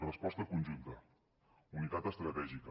resposta conjunta unitat estratègica